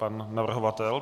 Pan navrhovatel?